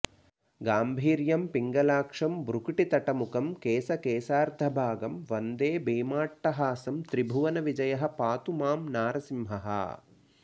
गाम्भीर्यं पिङ्गलाक्षं भ्रुकिटितटमुखं केशकेशार्धभागं वन्दे भीमाट्टहासं त्रिभुवनविजयः पातु मां नारसिंहः